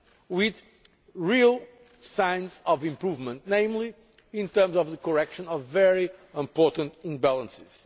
with real signs of improvement, particularly in terms of the correction of very important imbalances.